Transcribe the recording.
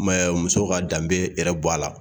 bɛ muso ka danbe yɛrɛ bɔ a la